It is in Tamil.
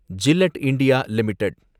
Gillette India limited